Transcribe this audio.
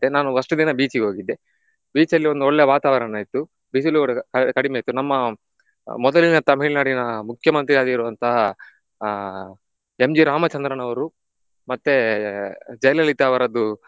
ನಾನು first ದಿನ beach ಇಗೆ ಹೋಗಿದ್ದೆ. Beach ಅಲ್ಲಿ ಒಂದು ಒಳ್ಳೆ ವಾತಾವರಣ ಇತ್ತು ಬಿಸಿಲು ಕಡಿಮೆ ಇತ್ತು. ನಮ್ಮ ಮೊದಲಿನ ತಮಿಳುನಾಡಿನ ಆಹ್ ಮುಖ್ಯಮಂತ್ರಿಯಾಗಿರುವಂತಹ ಆ M.G. ರಾಮಚಂದ್ರನ್ ಅವರು ಮತ್ತೆ ಜಯಲಲಿತ ಅವರದ್ದು